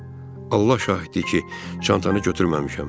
Allah şahiddir ki, çantanı götürməmişəm.